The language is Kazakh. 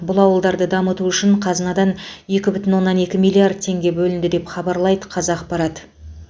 бұл ауылдарды дамыту үшін қазынадан екі бүтін оннан екі миллиард теңге бөлінді деп хабарлайды қазақпарат